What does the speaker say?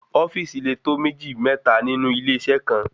ofíìsì le tó méjì ,mẹ́ta nínú ilé iṣẹ kan